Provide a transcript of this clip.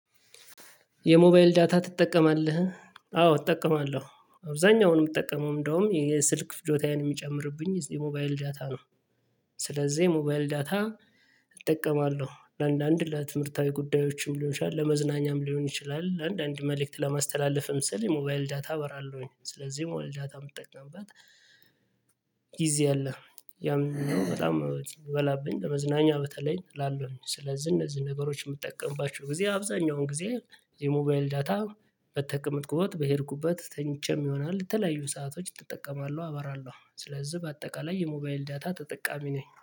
የሞባይል ዳታ ትጠቀማለህ? አዎ እጠቀማለሁ። አብዛኛውንም የምጠቀመው እንደውም የስልክ ፍጆታዬን የሚጨምርብኝ የሞባይል ዳታ ነው። ስለዚህ ሞባይል ዳታ እጠቀማለሁ ለአንዳንድ ለትምህርታዊ ጉዳዮችም ሊሆን ይችላል ለመዝናኛም ሊሆን ይችላል። አንድ አንድ መልእክት ለማስተላለፍም ስል የሞባይል ዳታ አበራለሁኝ ስለዚህ የሞባይል ዳታ የምጠቀምበት ጊዜ አለ። ያም በጣም ይበላብኝ በመዝናኛ በተለይ እላለሁኝ ስለዚህ እነዚህ ነገሮች የምጠቀምባቸው ጊዜ አብዛኛውን ጊዜ። የሞባይል ዳታ በተቀመጥሁት በሄድኩበት ተኝቼም ይሆናል የተለያዩ ሰአቶች እጠቀማለሁ አበራለሁ ስለዚህ በአጠቃላይ የሞባይል ዳታ ተጠቃሚ ነኝ